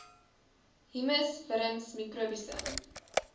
humus wurms mikrobiese